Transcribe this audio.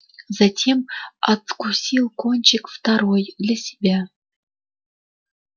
затем откусил кончик второй для себя